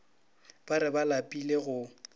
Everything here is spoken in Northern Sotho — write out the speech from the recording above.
ba re ba lapile go